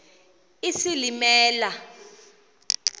isilimela